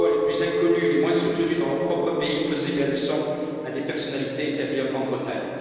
les voix les plus inconnues et les moins soutenues dans leur propre pays faisaient la leçon à des personnalités établies en Grande Bretagne.